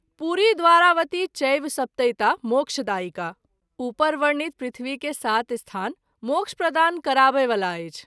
पुरी द्वारावती चैव सप्तैता मोक्षदायिका ॥ उपर वर्णित पृथ्वी के सात स्थान मोक्ष प्रदान कराबय वाला अछि।